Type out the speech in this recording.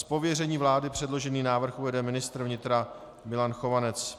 Z pověření vlády předložený návrh uvede ministr vnitra Milan Chovanec.